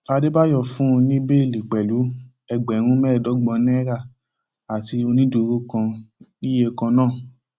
àdébáyọ fún un ní bẹẹlí pẹlú ẹgbẹrún mẹẹẹdọgbọn náírà àti onídùúró kan níye kan náà